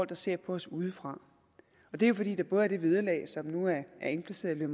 der ser på os udefra det er jo fordi der både er det vederlag som nu er indplaceret i